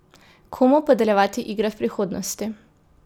Komu podeljevati igre v prihodnosti?